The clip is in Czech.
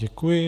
Děkuji.